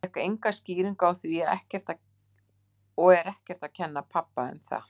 Ég fékk enga skýringu á því og er ekkert að kenna pabba um það.